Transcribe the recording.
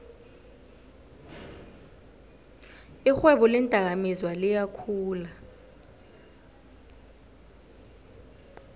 irhwebo leendakamizwa liyakhula